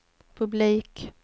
publik